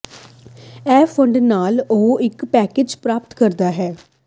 ਇਹ ਫੰਡ ਨਾਲ ਉਹ ਇੱਕ ਪੈਕੇਜ ਪ੍ਰਾਪਤ ਕਰਦਾ ਹੈ